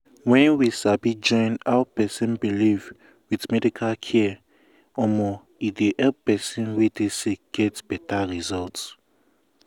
wen we sabi join how person believe with medical care e um dey help person wey dey sick get um beta um result.